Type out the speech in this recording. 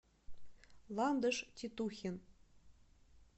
ландыш титухин